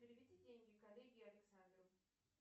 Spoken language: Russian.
переведи деньги коллеге александру